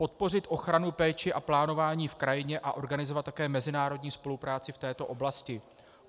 Podpořit ochranu, péči a plánování v krajině a organizovat také mezinárodní spolupráci v této oblasti.